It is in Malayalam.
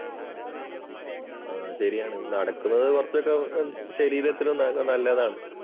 ആ ശരിയാണ് നടക്കുന്നത് കുറച്ചൊക്കെ ശരീരത്തിന് നല്ലതാണ്.